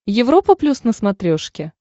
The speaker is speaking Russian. европа плюс на смотрешке